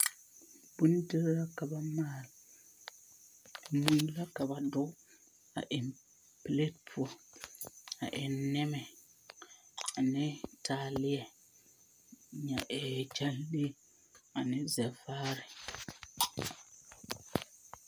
Bondir la ka ba maal. Mui la ka ba dɔge a eŋ pelat poɔ. A eŋ nɛmɛ ane taaleɛ, nyɛ ee gyɛnle ane zɛvaare.